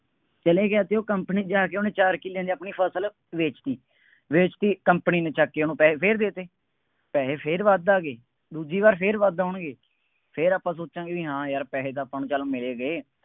ਚਲਿਆ ਗਿਆ ਅਤੇ ਉਹ company ਵਿੱਚ ਜਾ ਕੇ ਉਹਨੇ ਚਾਰ ਕਿੱਲਿਆਂ ਦੀ ਆਪਣੀ ਫਸਲ ਵੇਚਤੀ, ਵੇਚਤੀ company ਨੂੰ ਚੱਕ ਕੇ ਉਹਨੂੰ ਪੈਸੇ ਫੇਰ ਦੇ ਦਿੱਤੇ। ਪੈਸੇ ਫੇਰ ਵੱਧ ਆ ਗਏ, ਦੂਜੀ ਵਾਰ ਫੇਰ ਵੱਧ ਆਉਣਗੇ, ਫੇਰ ਆਪਾਂ ਸੋਚਾਂਗੇ ਹਾਂ ਯਾਰ ਪੈਸੇ ਤਾਂ ਆਪਾਂ ਨੂੰ ਚੱਲ ਮਿਲਗੇ।